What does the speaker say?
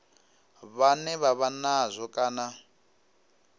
vhane vha vha nazwo kana